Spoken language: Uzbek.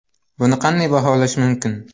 Buni qanday baholash mumkin?